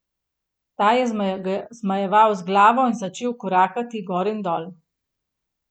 Ta je zmajeval z glavo in začel korakati gor in dol.